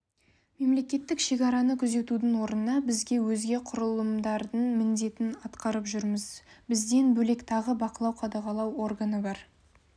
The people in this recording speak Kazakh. мемлекеттік шекараны күзетудің орнына біз өзге құрылымдардың міндетін атқарып жүрміз бізден бөлек тағы бақылау-қадағалау органы бар